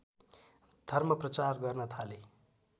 धर्मप्रचार गर्न थाले